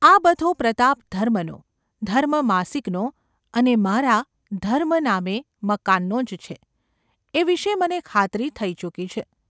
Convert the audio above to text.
આ બધો પ્રતાપ ધર્મનો, ‘ધર્મ’ માસિકનો અને મારા ‘ધર્મ’ નામે મકાનનો જ છે એ વિષે મને ખાતરી થઈ ચૂકી છે.